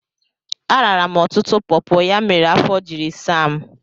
Arara m ọtụtụ pọpọ, ya mere afọ jiri saa m.